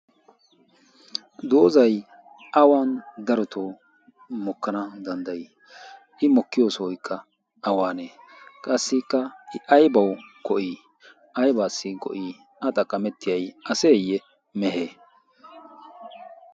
doozay awan daroto mokkana danddayi i mokkiyo sooykka awaanee qassikka i aybawu go''ii aybaassi go'ii a xaqqamettiyai aseeyye mehe